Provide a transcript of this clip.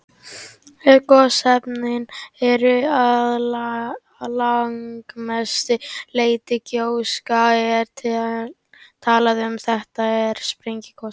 Ef gosefnin eru að langmestu leyti gjóska er talað um þeyti- eða sprengigos.